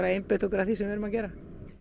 einbeita okkur að því sem við erum að gera